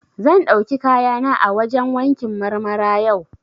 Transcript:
Zan ɗauki kayana a wajen wankin Marmara yau.